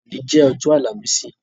Ọ̀ní jẹ Ọ̀jọ̀ Alamìsìì